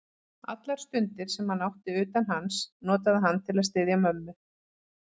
Allar stundir, sem hann átti utan hans, notaði hann til að styðja mömmu.